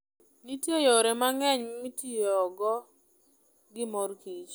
Nitie yore mang'eny mitiyogo gi mor kich.